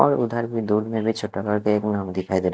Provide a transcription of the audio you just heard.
और उधर दूध में भी छोटा नाम देव नाम दिखाई दे रहा।